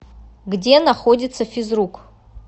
где находится физрук